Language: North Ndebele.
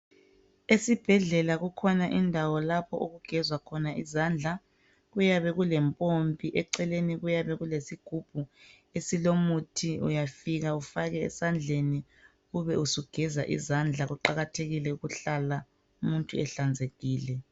Esibhedlela kukhona indawo lapho okugezwa izandla kuyabe kulempompi eceleni kuyabe kulesigubhu esilomuthi uyafika ufake esandleni ube usugeza izandla kuqakathekile ukuhlala umuntu ehlanzekile.